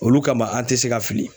Olu kama an tɛ se ka fili